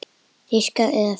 Diskar eða föt?